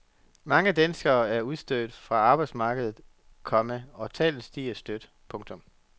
Mange danskere er udstødt fra arbejdsmarkedet, komma og tallet stiger støt. punktum